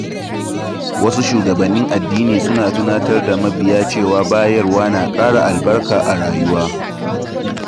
Wasu shugabannin addini suna tunatar da mabiya cewa bayarwa na ƙara albarka a rayuwa.